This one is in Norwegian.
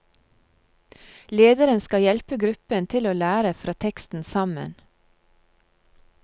Lederen skal hjelpe gruppen til å lære fra teksten sammen.